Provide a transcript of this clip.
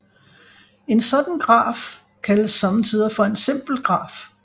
En sådan graf kaldes sommetider for en simpel graf